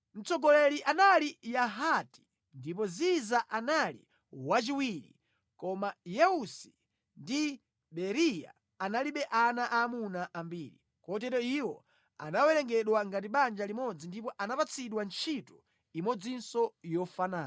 Mtsogoleri anali Yahati, ndipo Ziza anali wachiwiri, koma Yeusi ndi Beriya analibe ana aamuna ambiri. Kotero iwo anawerengedwa ngati banja limodzi ndipo anapatsidwa ntchito imodzinso yofanana.